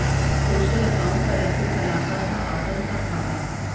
social account पर ऐसे चलाता था आतंक का खाता